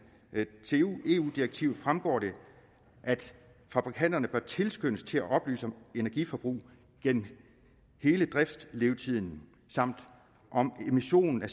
til eu direktivet fremgår det at fabrikanterne bør tilskyndes til at oplyse om energiforbrug gennem hele driftslevetiden samt om emissionen af